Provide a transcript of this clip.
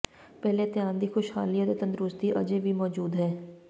ਪਹਿਲੇ ਧਿਆਨ ਦੀ ਖੁਸ਼ਹਾਲੀ ਅਤੇ ਤੰਦਰੁਸਤੀ ਅਜੇ ਵੀ ਮੌਜੂਦ ਹੈ